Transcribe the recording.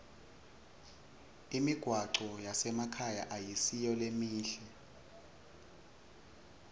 imigwaco yasemakhaya ayisiyo lemihle